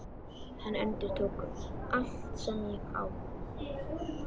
Hann endurtók: Allt sem ég á